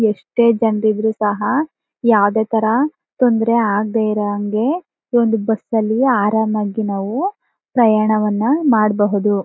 ಎಷ್ಟೇ ಜನರಿದ್ದರೂ ಸಹ ಯಾವುದೇ ತರ ತೊಂದರೆ ಆಗದೆ ಇರೋ ಹಾಗೆ ಈ ಒಂದು ಬಸ್ಸಲ್ಲಿ ಆರಾಮಾಗಿ ನಾವು ಪ್ರಯಾಣವನ್ನು ಮಾಡಬಹುದು.